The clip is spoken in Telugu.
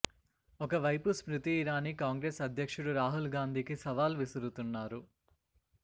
ఒకవైపు స్మృతి ఇరాని కాంగ్రెస్ అధ్యక్షుడు రాహుల్ గాంధీకి సవాల్ విసురుతున్నారు